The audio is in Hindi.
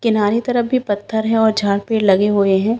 किनारे तरफ भी पत्थर है और झाड-पेड़ लगे हुए हैं।